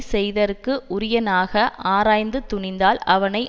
செய்தற்கு உரியனாக ஆராய்ந்து துணிந்தால் அவனை